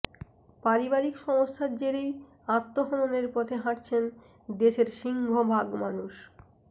পারিবারিক সমস্যার জেরেই আত্মহননের পথে হাঁটছেন দেশের সিংহভাগ মানুষ